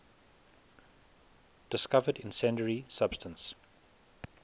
discovered incendiary substance